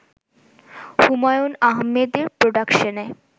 হুমায়ূন আহমেদের প্রোডাকশনে